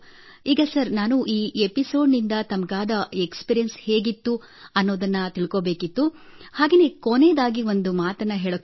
ಈಗ ಸರ್ ನಾನು ಈ ಎಪಿಸೋಡ್ ನಿಂದ ತಮಗಾದ ಎಕ್ಸ್ಪೀರಿಯೆನ್ಸ್ ಹೇಗಿತ್ತು ಎಂಬುದನ್ನು ತಿಳಿದುಕೊಳ್ಳಬೇಕು ಮತ್ತು ಕೊನೆಯದಾಗಿ ಒಂದು ಮಾತು ಅಡ್ ಮಾಡಬಯಸುತ್ತೇನೆ